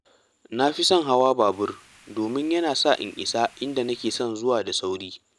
Na fi son hawa babur domin yana sa in isa inda nake son zuwa da sauri.